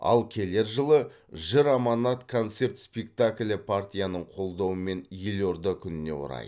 ал келер жылы жыр аманат концерт спектаклі партияның қолдауымен елорда күніне орай